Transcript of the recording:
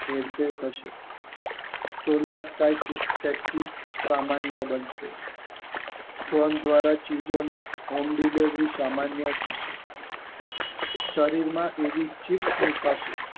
હેરફેર થશે ટેલાઈસ્કા સામાન્ય બનશે ટ્રોન દ્વારા ચીજોની હોમ ડીલેવરી સામાન્ય થશે શરીરમાં વિવિધ ચીજ મુકાશે